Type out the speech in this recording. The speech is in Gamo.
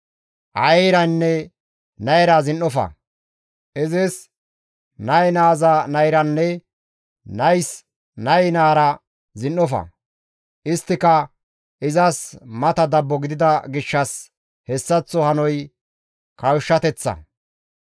«Aayeyranne nayra zin7ofa; izis nay naaza nayranne nays nay nayra zin7ofa; isttika izas mata dabbo gidida gishshas hessaththo hanoy kawushshateththa.